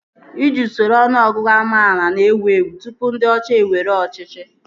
Iji usoro ọnụọgụgụ amaala na-ewu ewu tụpụ ndị ọcha ewere ọchịchị